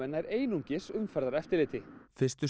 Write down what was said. nær eingöngu umferðareftirliti fyrstu